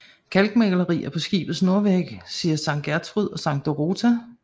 Kalkmalerier på skibets nordvæg viser Sankt Gertrud og Sankt Dorothea